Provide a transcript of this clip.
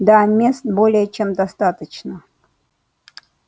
да мест более чем достаточно